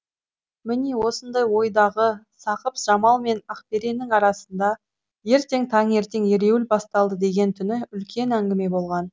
міне осындай ойдағы сақып жамал мен ақбереннің арасында ертең таңертең ереуіл басталады деген түні үлкен әңгіме болған